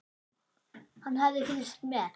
Hann hafði fylgst með